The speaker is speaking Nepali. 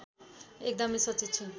एकदमै सचेत छु